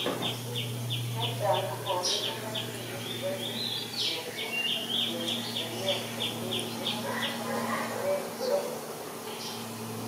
Chechang kokokinde lainit nekikonye keyochi yen nyet eng kenyishek nekit somok.